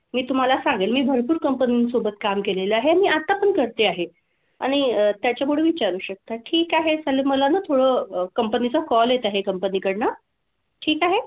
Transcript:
मी तुम्हाला सांगेल. मी भरपूर कंपनींसोबत काम केलेलं आहे आणि आता पण करते आहे. आणि त्याच्यामुळे विचारू शकता. ठीक आहे चला मला ना थोडं company चं call company कडनं. ठीक आहे?